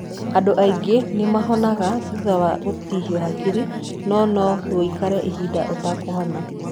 Andũ aingĩ nĩ mahonaga thutha wa gũtihio hakiri no no wũikare ihinda ũtanahona.